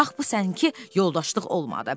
Bax bu sən ki yoldaşlıq olmadı.